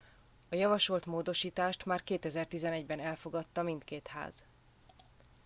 a javasolt módosítást már 2011 ben elfogadta mindkét ház